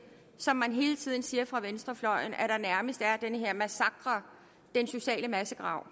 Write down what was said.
som man hele tiden siger fra venstrefløjens at der nærmest er den her massakre den sociale massegrav